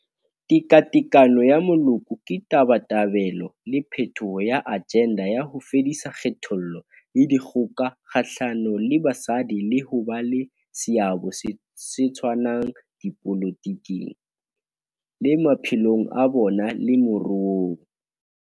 Tekatekano ya Moloko ke tabatabelo le phethoho ya ajenda ya ho fedisa kgethollo le dikgoka kgahlano le basadi le ho ba le seabo se tshwanang dipolotiking, le maphelong a bona le moruong.